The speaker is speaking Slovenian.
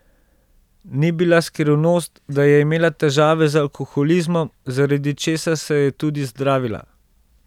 Ni bila skrivnost, da je imela težave z alkoholizmom, zaradi česar se je tudi zdravila.